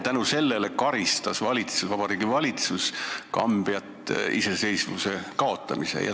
Ja selle eest karistas Vabariigi Valitsus Kambjat iseseisvuse kaotamisega.